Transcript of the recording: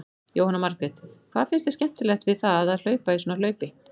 Jóhanna Margrét: Hvað finnst þér skemmtilegt við það að hlaupa í svona hlaupi?